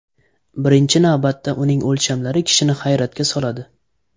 Birinchi navbatda uning o‘lchamlari kishini hayratga soladi.